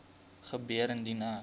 gebeur indien ek